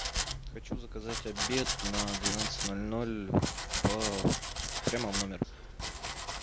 хочу заказать обед на двенадцать ноль ноль по прямо в номер